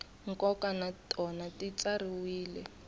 nkoka na tona ti tsariwile